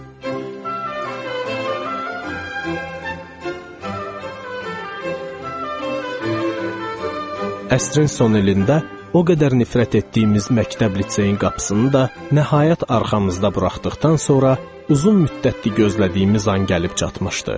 Əsrin son ilində o qədər nifrət etdiyimiz məktəb liseyin qapısını da nəhayət arxamızda buraxdıqdan sonra uzun müddətdir gözlədiyimiz an gəlib çatmışdı.